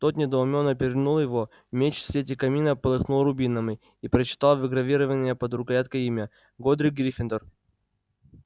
тот недоумённо перевернул его меч в свете камина полыхнул рубинами и прочитал выгравированное под рукояткой имя годрик гриффиндор